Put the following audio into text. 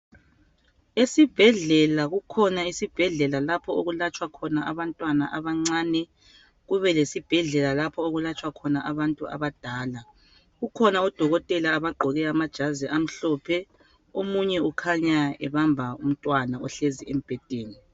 Esibhedlela kukhona esibhedlela lapho okulatshwa khona abantwana abancane. Kube lesibhedlela lapho okulatshwa khona abantu abadala. Kukhona udokotela abagqoke amajazi amhlophe. Omunye ukhanya ebamba umtwana ohlezi embhedeni.